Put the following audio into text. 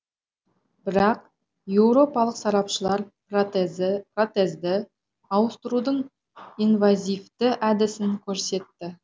бірақ еуропалық сарапшылар протезді ауыстырудың инвазивті әдісін көрсетті